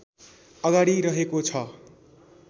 अगाडि रहेको छ